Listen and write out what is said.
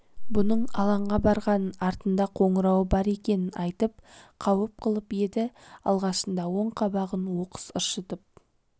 бұның алаңға барғанын артында қоңырауы бар екенін айтып қауіп қылып еді алғашында оң қабағын оқыс ыршытып